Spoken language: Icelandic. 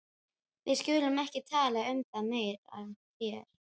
Við skulum ekki tala um það meira hér.